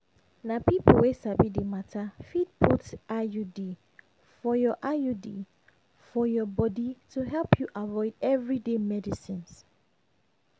na people wey sabi the matter fit put iud for your iud for your body to help you avoid everyday medicines